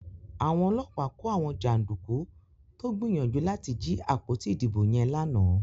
Àwọn ọlọ́pàá kò àwọn janduku tó gbìyànjú láti jí àpótí ìdìbò yen lànà.